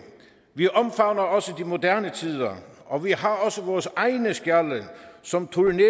vi omfavner også de moderne tider og vi har også vores egne skjalde som turnerer